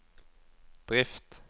drift